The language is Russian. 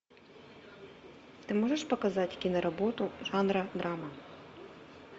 ты можешь показать киноработу жанра драма